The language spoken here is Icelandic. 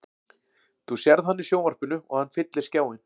Þú sérð hann í sjónvarpinu og hann fyllir skjáinn.